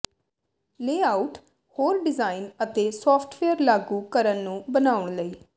layout ਹੋਰ design ਅਤੇ software ਲਾਗੂ ਕਰਨ ਨੂੰ ਬਣਾਉਣ ਲਈ